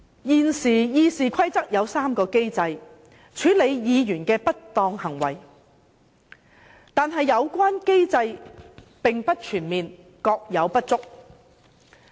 根據《議事規則》，現時有3個機制處理議員的不當行為，但有關機制並不全面，各有不足。